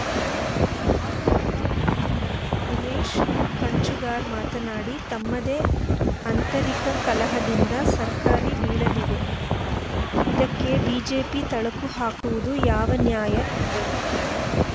BJP ಹಿರಿಯ ಮುಖಂಡ ಉಮೇಶ ಕಂಚುಗಾರ್‌ ಮಾತನಾಡಿ ತಮ್ಮದೇ ಆಂತರಿಕ ಕಲಹದಿಂದ ಸರ್ಕಾರಿ ಬೀಳಲಿದೆ ಇದಕ್ಕೆ ಬಿಜೆಪಿ ತಳಕು ಹಾಕುವುದು ಯಾವ ನ್ಯಾಯ ಎಂದರು